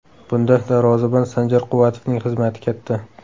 Bunda darvozabon Sanjar Quvvatovning xizmati katta.